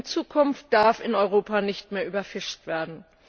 In Zukunft darf in Europa nicht mehr überfischt werden.